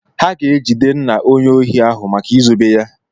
Ha ga-ejide nna onye ohi ahụ maka izobe ya.